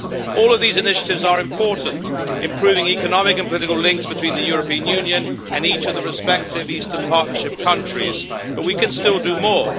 All of these initiatives are important, improving economic and political links between the European Union and each of the respective Eastern Partnership countries, but we can still do more.